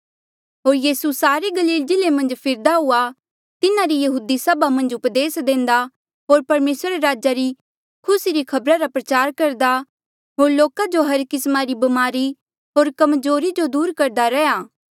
होर यीसू सारे गलील जिल्ले मन्झ फिरदा हुआ तिन्हारी यहूदी सभा मन्झ उपदेस देंदा होर परमेसरा रे राजा री खुसी री खबर प्रचार करदा होर लोका जो हर किस्मा री ब्मारी होर कम्जोरी जो दूर करदा रैहया